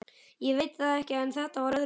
Ég veit það en þetta var öðruvísi.